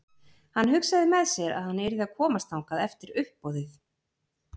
Hann hugsaði með sér að hann yrði að komast þangað eftir uppboðið.